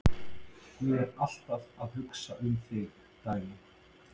Ég er alltaf að hugsa um þig, Dagný.